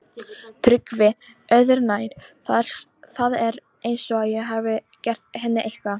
TRYGGVI: Öðru nær, það er eins og ég hafi gert henni eitthvað.